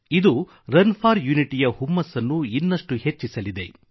ಇದು run for unity ಯ ಹುಮ್ಮಸ್ಸನ್ನು ಇನ್ನಷ್ಟು ಹೆಚ್ಚಿಸಲಿದೆ